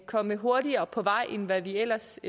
komme hurtigere på vej end hvad vi ellers